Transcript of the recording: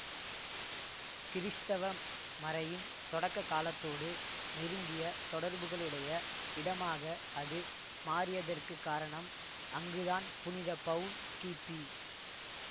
கிறிஸ்தவ மறையின் தொடக்க காலத்தோடு நெருங்கிய தொடர்புகளுடைய இடமாக அது மாறியதற்குக் காரணம் அங்குதான் புனித பவுல் கிபி